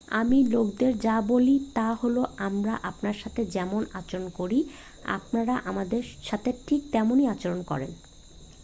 আমি লোকদের যা বলি তা হলো আমরা আপনার সাথে যেমন আচরণ করি আপনারা আমাদের সাথে ঠিক তেমনই আচরণ করেন